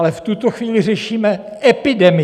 Ale v tuto chvíli řešíme epidemii.